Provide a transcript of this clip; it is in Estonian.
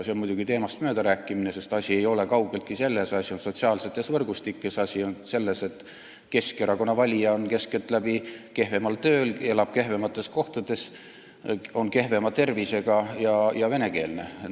See on muidugi teemast mööda rääkimine, sest asi ei ole kaugeltki selles, asi on sotsiaalsetes võrgustikes, asi on selles, et Keskerakonna valija on keskeltläbi kehvemal tööl, elab kehvemas kohas, on kehvema tervisega ja venekeelne.